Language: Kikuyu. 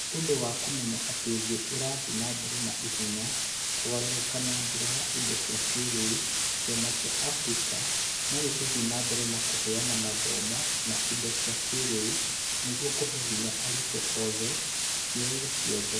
Nĩ ũndũ wa kũmenya atĩ thĩ ĩrathiĩ na mbere na ihenya kũgarũrũka na njĩra ya indo cia kĩĩrĩu, kĩama kĩa Africa no gĩgũthiĩ na mbere na kũheana mathomo na indo cia kĩĩrĩu nĩguo kuhe hinya arutwo oothe ikĩro ciothe